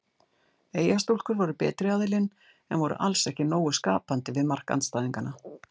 Eyjastúlkur voru betri aðilinn en voru alls ekki nógu skapandi við mark andstæðinganna.